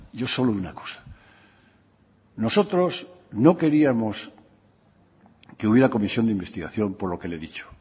yo solo una cosa nosotros no queríamos que hubiera comisión de investigación por lo que le he dicho